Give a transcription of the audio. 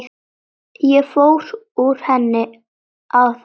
Ég fór úr henni áðan.